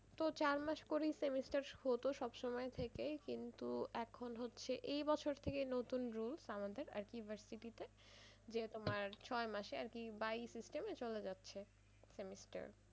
তো চার মাস করেই semester হতো সবসময় থেকে কিন্তু এখন হচ্ছে এবছর থেকে নতুন rules আরকি আমাদের university তে যে তোমার ছয় মাসে আরকি by system এ চলে যাচ্ছে semestar